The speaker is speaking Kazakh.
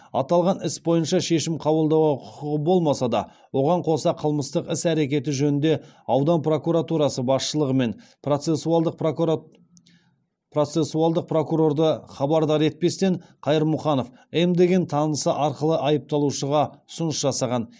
аталған іс бойынша шешім қабылдауға құқығы болмаса да оған қоса қылмыстық іс әрекеті жөнінде аудан прокуратурасы басшылығы мен процессуалдық прокурорды хабардар етпестен қайырмұханов м деген танысы арқылы айыпталушыға ұсыныс жасаған